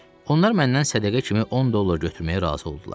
Onlar məndən sədəqə kimi 10 dollar götürməyə razı oldular.